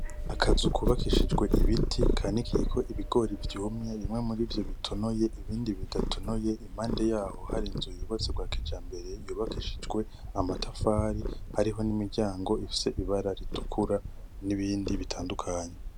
Amazu kubakishijwe ibiti kanikiyeko ibigori vyumye bimwe murivyo bitonoye ibindi bidatonoye, impande yaho hari inzu yubatswe vya kijambere yubakishijwe amatafari ariho n’imiryango ifise ibara ritukura n’ibindi bitandukanye.